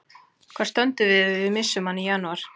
Hvar stöndum við ef við missum hann í janúar?